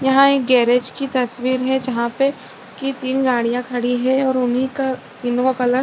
यहाँ एक गैरेज की एक तस्वीर है जहाँ पे की तीन गाड़िया खड़ी है और उन्हीं का इन्वोआ कलर --